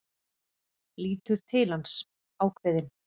Lítur til hans, ákveðin.